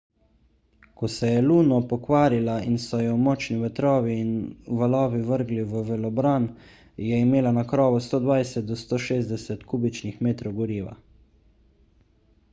ko se je luno pokvarila in so jo močni vetrovi in valovi vrgli v valobran je imela na krovu 120–160 kubičnih metrov goriva